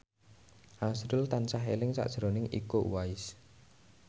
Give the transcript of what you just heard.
azrul tansah eling sakjroning Iko Uwais